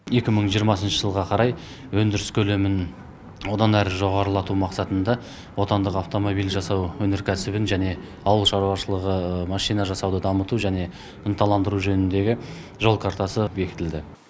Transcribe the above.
екі мың жиырмасыншы жылға қарай өндіріс көлемін одан әрі жоғарылату мақсатында отандық автомобиль жасау өнеркәсібін және ауыл шаруашылығы машина жасауды дамыту және ынталандыру жөнінде жол картасы бекітілді